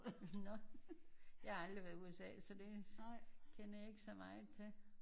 Nårh jeg har aldrig været i USA så det kender jeg ikke så meget til